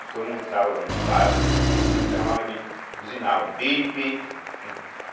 E quando entrava no bairro, né, chamava de, buzinava, Bibi.